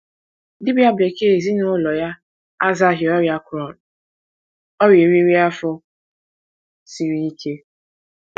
Dibia bekee ezinụlọ ya azaghị ọrịa Crohn, ọrịa eriri afọ siri ike.